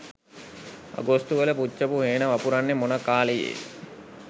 අගෝස්තු වල පුච්චපු හේන වපුරන්නේ මොන කාලයේද?